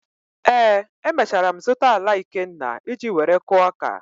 Ee, emechara m zụta ala Ikenna iji were kụọ ọka.